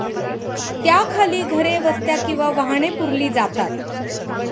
त्याखाली घरे, वस्त्या किंवा वाहने पुरली जातात.